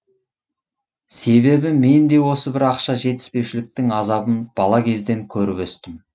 себебі мен де осы бір ақша жетіспеушіліктің азабын бала кезден көріп өстім